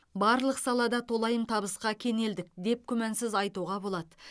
барлық салада толайым табысқа кенелдік деп күмәнсіз айтуға болады